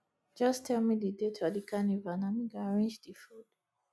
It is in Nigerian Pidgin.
just tell me the date for di carnival na me go arrange di food